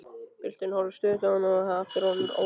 Pilturinn horfir stöðugt á hann og er aftur orðinn órólegur.